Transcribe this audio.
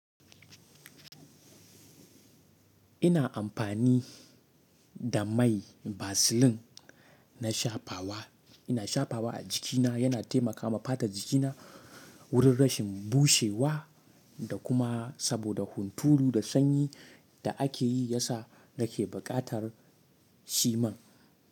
Ina amfani da mai vaseline na shafawa. Ina shafawa a jikina, yana taimakawa fata jikina wurin rashin bushewa da kuma saboda huntulu da sanyi da ake yi ya sa da ke buƙatar shi man.